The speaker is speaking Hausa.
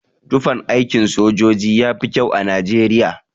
Tufan aikin sojoji yafi kyau a Najeriya.